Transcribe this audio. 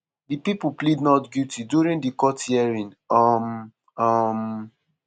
di pipo plead not guilty during di court hearing. um um